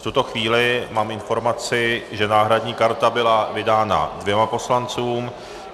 V tuto chvíli mám informaci, že náhradní karta byla vydána dvěma poslancům.